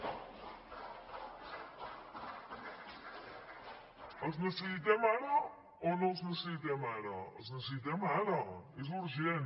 els necessitem o no els necessitem ara els necessitem ara és urgent